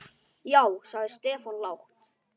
Já sagði Stefán lágt.